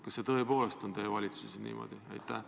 Kas see tõepoolest käib teie valitsuses niimoodi?